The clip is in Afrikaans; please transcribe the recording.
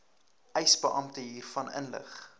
eisebeampte hiervan inlig